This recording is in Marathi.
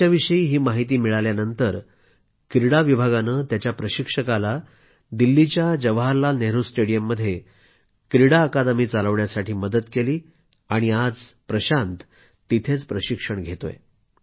त्याच्याविषयी ही माहिती मिळाल्यानंतर क्रीडा विभागाने त्याच्या प्रशिक्षकाला दिल्लीच्या जवाहरलाल नेहरू स्टेडियममध्ये क्रीडा अकादमी चालवण्यासाठी मदत केली आणि आज प्रशांत तिथंच प्रशिक्षण घेतोय